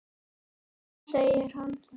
Þá segir hann